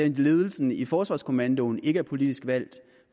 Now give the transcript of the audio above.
ledelsen i forsvarskommandoen ikke er politisk valgt